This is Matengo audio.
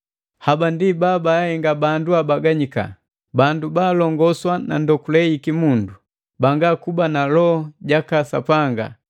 Haba ndi babaahenga bandu abaganyikana, bandu baalongoswa na ndokule yiki mundu, banga kuba na Loho jaka Sapanga.